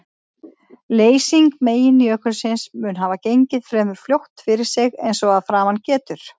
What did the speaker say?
Leysing meginjökulsins mun hafa gengið fremur fljótt fyrir sig eins og að framan getur.